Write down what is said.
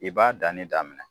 I b'a danni daminɛ